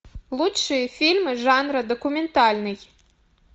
лучшие фильмы жанра документальный